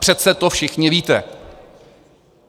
Přece to všichni víte.